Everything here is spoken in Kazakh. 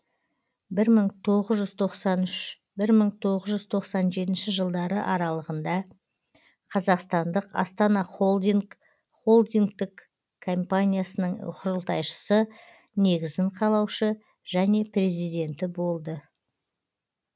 бір мың тоғыз жүз тоқсан үш бір мың тоғыз жүз тоқсан жетінші жылдары аралығында қазақстандық астана холдинг холдингтік компаниясының құрылтайшысы негізін қалаушы және президенті болды